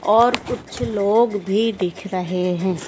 और कुछ लोग भी दिख रहे है।